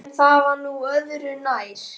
En það var nú öðru nær.